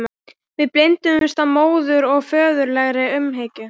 Við blinduðumst af móður- og föðurlegri umhyggju.